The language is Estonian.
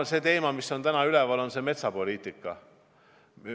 Üks teema, mis on täna üleval, on metsapoliitika.